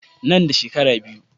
Nan da shekara biyu.